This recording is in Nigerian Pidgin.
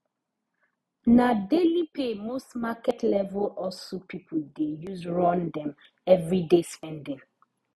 na daily pay most market level hustle pipo dey use run dem everyday spending